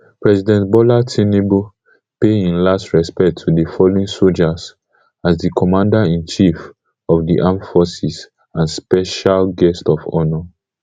president bola tinubu pay im last respect to di fallen sojas as di commaderinchief of di armed forces and special guest of honour